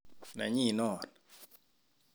Nenyin non